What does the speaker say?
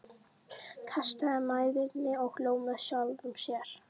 Kastaði mæðinni og hló með sjálfum sér.